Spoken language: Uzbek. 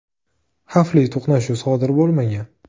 Xavfli to‘qnashuv sodir bo‘lmagan.